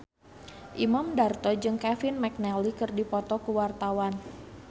Imam Darto jeung Kevin McNally keur dipoto ku wartawan